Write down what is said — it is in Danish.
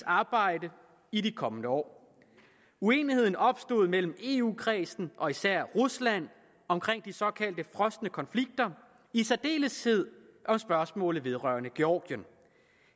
arbejde i de kommende år uenigheden opstod mellem eu kredsen og især rusland om de såkaldte frosne konflikter i særdeleshed og spørgsmålet vedrørende georgien